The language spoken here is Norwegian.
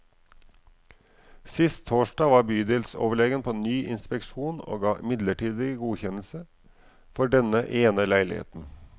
Sist torsdag var bydelsoverlegen på ny inspeksjon og ga midlertidig godkjennelse for denne ene leiligheten.